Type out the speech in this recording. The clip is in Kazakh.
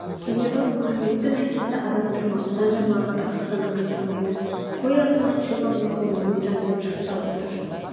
себебі мұхамедтің әкесі адам тұрмақ жан жануарға да қастандық жасамайтын қой аузынан шөп алмайтын момын жан деп жақтап отыр